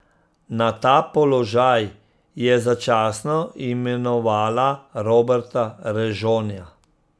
Na ta položaj je začasno imenovala Roberta Režonja.